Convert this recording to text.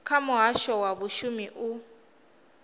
kha muhasho wa vhashumi u